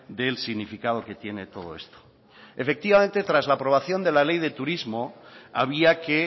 del significado que tiene todo esto efectivamente tras la aprobación de la ley de turismo había que